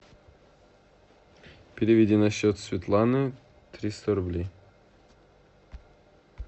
переведи на счет светланы триста рублей